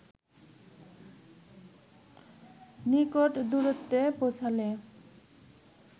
নিকট দূরত্বে পৌঁছালে